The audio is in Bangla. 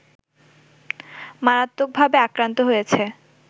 মারাত্মকভাবে আক্রান্ত হয়েছে